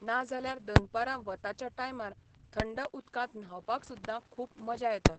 ना जाल्यार दनपारां वताच्या टायमार थंड उदकांत न्हांवपाक सुद्दां खूब मजा येता.